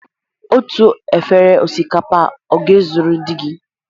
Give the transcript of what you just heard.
Otu efere osikapa ọ ga-ezuru di gị?